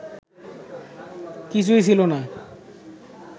কিছুই ছিল না